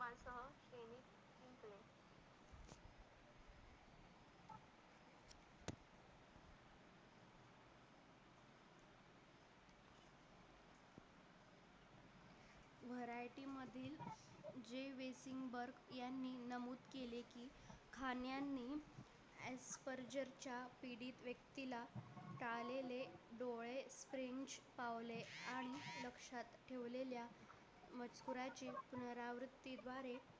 खान यांनी च्या पीडित व्यक्तीला आणि लक्षात ठेवलेल्या पुनरावृत्ती द्वारे